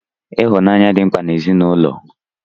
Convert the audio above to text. Ịhụnanya dị mkpa n'ezinụlọ.